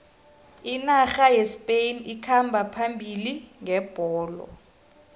inarha yespain ikhamba phambili ngebholo